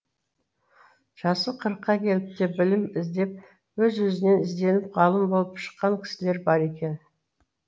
жасы қырыққа келіп те білім іздеп өз өзінен ізденіп ғалым болып шыққан кісілер бар екен